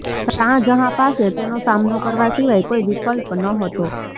શાહજહાં પાસે તેનો સામનો કરવા સિવાય કોઈ વિકલ્પ નહોતો